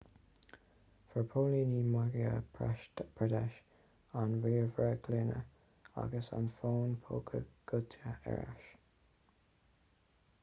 fuair póilíní madhya pradesh an ríomhaire glúine agus an fón póca goidte ar ais